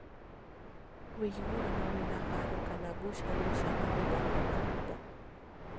Wĩguano wĩna haro kana ngucanio cia mahinda kwa mahinda